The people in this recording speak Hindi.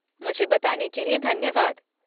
मुझे बताने के लिए धन्यवाद।